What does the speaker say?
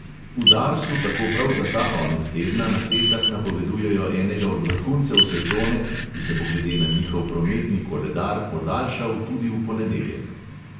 V darsu tako prav za ta konec tedna na cestah napovedujejo enega od vrhuncev sezone, ki se bo glede na njihov prometni koledar podaljšal tudi v ponedeljek.